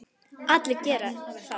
Allir geri það.